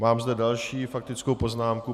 Mám zde další faktickou poznámku.